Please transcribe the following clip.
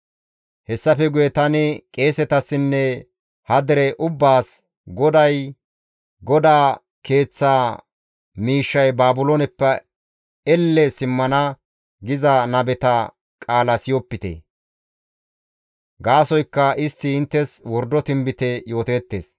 Hessafe guye tani qeesetassinne ha dere ubbaas, «GODAY, ‹GODAA Keeththaa miishshay Baabilooneppe elle simmana› giza nabeta qaala siyopite. Gaasoykka istti inttes wordo tinbite yooteettes.